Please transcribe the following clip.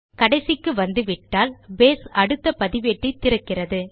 கடைசிக்கு வந்துவிட்டால் பேஸ் அடுத்த பதிவேட்டை திறக்கிறது